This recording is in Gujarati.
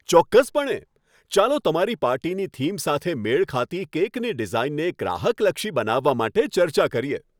ચોક્કસપણે! ચાલો તમારી પાર્ટીની થીમ સાથે મેળ ખાતી કેકની ડિઝાઇનને ગ્રાહકલક્ષી બનાવવા માટે ચર્ચા કરીએ.